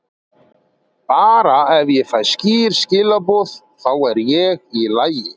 Bara ef ég fæ skýr skilaboð, þá er ég í lagi.